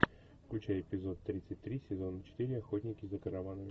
включай эпизод тридцать три сезона четыре охотники за караванами